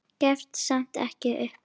Gefst samt ekki upp.